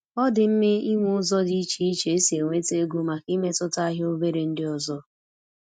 Ọ dị mma ịnwe ụzọ dị iche iche esi enweta ego màkà imetụta ahịa obere ndị ọzọ